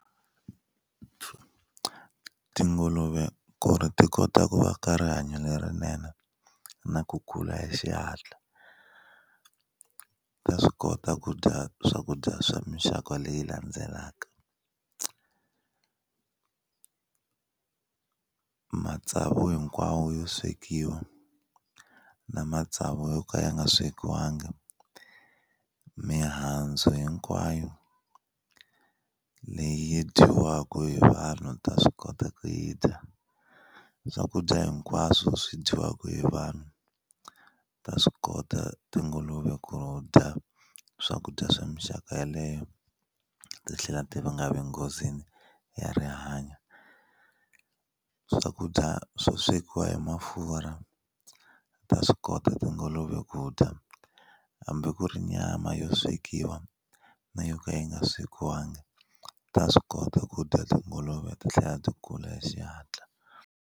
Tinguluve ku ri ti kota ku va ka rihanyo lerinene na ku kula hi xihatla ta swi kota ku dya swakudya swa mixaka leyi landzelaka matsavu hinkwawo yo swekiwa na matsavu yo ka ya nga swekiwangi mihandzu hinkwayo leyi dyiwaka hi vanhu ta swi kota ku yi dya swakudya hinkwaswo swi dyiwaka hi vanhu ta swi kota tinguluve ku dya swakudya swa mixaka yeleyo ti tlhela ti va nga vi nghozini ya rihanyo swakudya swo swekiwa hi mafurha ta swi kota tinguluve ku dya hambi ku ri nyama yo swekiwa na yo ka yi nga swekiwanga ta swi kota ku dya tinguluve ti tlhela ti kula hi xihatla.